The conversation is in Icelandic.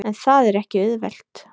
En það er ekki auðvelt.